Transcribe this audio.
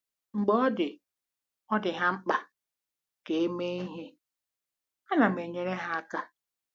Mgbe ọ dị ọ dị ha mkpa ka e mee ihe, a nam enyere há aka.